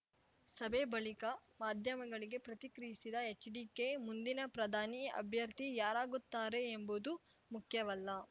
ಸಭೆ ಬಳಿಕ ಮಾಧ್ಯಮಗಳಿಗೆ ಪ್ರತಿಕ್ರಿಯಿಸಿದ ಎಚ್‌ಡಿಕೆ ಮುಂದಿನ ಪ್ರಧಾನಿ ಅಭ್ಯರ್ಥಿ ಯಾರಾಗುತ್ತಾರೆ ಎಂಬುದು ಮುಖ್ಯವಲ್ಲ